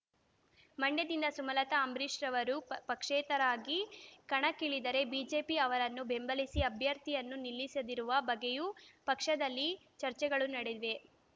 ಮಂಡ್ಯದಿಂದ ಸುಮಲತಾ ಅಂಬರೀಶ್ ಅವರು ಪಕ್ಷೇತರರಾಗಿ ಕಣಕ್ಕಿಳಿದರೆ ಬಿಜೆಪಿ ಅವರನ್ನು ಬೆಂಬಲಿಸಿ ಅಭ್ಯರ್ಥಿಯನ್ನು ನಿಲ್ಲಿಸದಿರುವ ಬಗ್ಗೆಯೂ ಪಕ್ಷದಲ್ಲಿ ಚರ್ಚೆಗಳು ನಡೆದಿವೆ